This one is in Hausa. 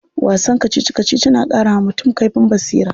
Wasan kacici kacici na karawa mutum kaifin basira.